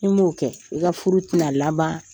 Ni m'o kɛ, i ka furu tɛna laban,